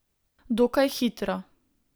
Dokaj hitro.